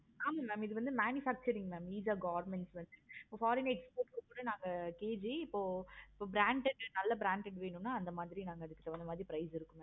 ஆமா mam இது வந்து manufacturing mam eesha government வச்சி இப்போ foreign exports க்கு கூட நாங்க KG இப்ப branded நாலா branded வேணும்னா அந்த மாதிரி அதுக்கு தகுந்த மாதிரி price இருக்கு.